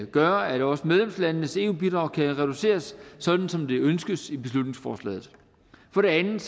gøre at også medlemslandenes eu bidrag kan reduceres sådan som det ønskes i beslutningsforslaget for det andet